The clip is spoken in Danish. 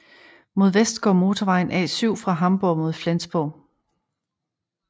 Mod vest går motorvejen A7 fra Hamborg mod Flensborg